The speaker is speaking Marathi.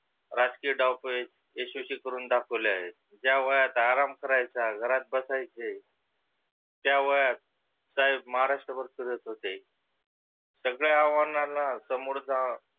राजकीय डाव खेळी यशस्वी करुण दाखविले आहे. ज्या वयात आराम करायचा घरात बसायचे त्या वयात साहेब महाराष्ट्रभर फिरत होते. सगळ्या अव्हानाला सामोरे जात